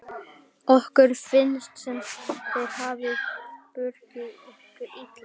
Okkur finnst sem þeir hafi brugðist okkur illa.